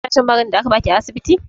Kina shan maganin da aka ba ki a asibiti?